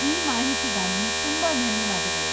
ಈ ಮಾಹಿತಿಗಾಗಿ ತುಂಬಾ ಧನ್ಯವಾದಗಳು.